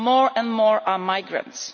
More and more are migrants.